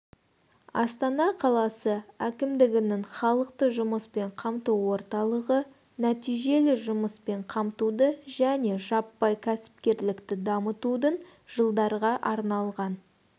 астана қаласы әкімдігінің халықты жұмыспен қамту орталығы нәтижелі жұмыспен қамтуды және жаппай кәсіпкерлікті дамытудың жылдарға арналған